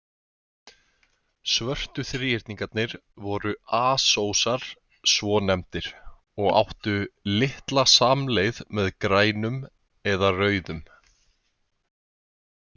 Svörtu þríhyrningarnir voru asósar svonefndir, og áttu litla samleið með grænum eða rauðum.